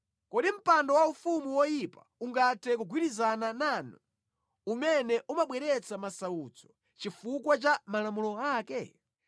Kodi mpando waufumu woyipa ungathe kugwirizana nanu umene umabweretsa masautso chifukwa cha malamulo ake?